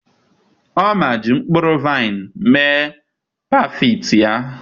Oma ji mkpụrụ vaịn mee Parfait ya.